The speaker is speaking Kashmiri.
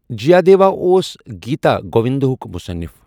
جیٛیادیوا اوس گیتا گووندا ہُک مُصَنِف۔